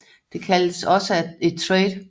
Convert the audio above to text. Det kaldes også for et trade